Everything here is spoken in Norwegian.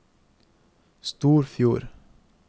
Storfjord